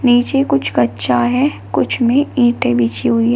नीचे कुछ कच्चा है कुछ में ईटें बिछी हुई है।